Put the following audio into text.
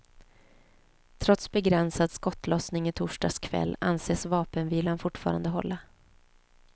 Trots begränsad skottlossning i torsdags kväll anses vapenvilan fortfarande hålla.